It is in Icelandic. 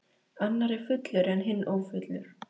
Annar er fullur en hinn ófullur.